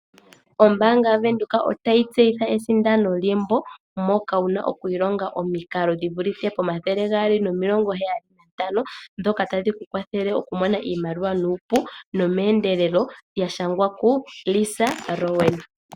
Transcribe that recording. Ombaanga ya Venduka otayi tseyitha esindano lyembo moka wuna oku ilonga omikalo dhi vulithe pomathele gaali nomilongo heyali nantano . Ndhoka tadhi ku kwathele oku mona oshimaliwa nuupu nomeendelelo lya shangwa ku Lisa Rowan.